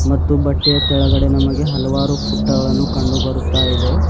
ಮತ್ತು ಬಟ್ಟೆಯ ತೆಳಗಡೆ ನಮಗೆ ಹಲವಾರು ಫುತ್ತಾಗಳನ್ನು ಕಂಡು ಬರತ್ತಾ ಇದೆ.